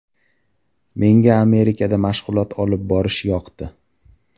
Menga Amerikada mashg‘ulot olib borish yoqdi.